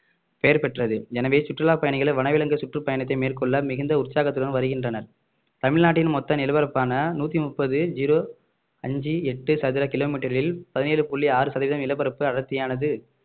பெயர் பெற்றது எனவே சுற்றுலா பயணிகள் வனவிலங்கு சுற்றுப்பயணத்தை மேற்கொள்ள மிகுந்த உற்சாகத்துடன் வருகின்றனர் தமிழ்நாட்டின் மொத்த நிலப்பரப்பான நூத்தி முப்பது ஜீரோ அஞ்சு எட்டு சதுர கிலோமீட்டரில் பதினேழு புள்ளி ஆறு சதவீதம் நிலப்பரப்பு அடர்த்தியானது